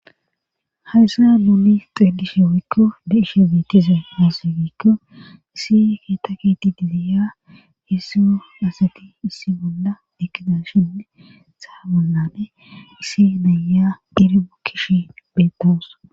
Hayssa luuli xeelishe wikko deishe biitise muosiwikko isi keeta kiti didiya heessu asati issi bolla dekida shinne saabunnane isi naya diiri bukkish bettoos.